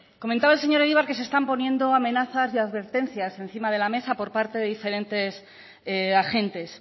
comentaba el señor egibar que se están poniendo amenazas y advertencias encima de la mesa por parte de diferentes agentes